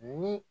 Ni